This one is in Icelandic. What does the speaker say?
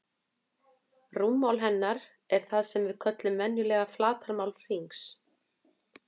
Rúmmál hennar er það sem við köllum venjulega flatarmál hringsins.